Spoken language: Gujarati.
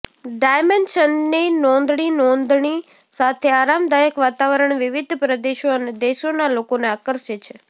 ડાઇમેંશનની નોંધોની નોંધણી સાથે આરામદાયક વાતાવરણ વિવિધ પ્રદેશો અને દેશોના લોકોને આકર્ષે છે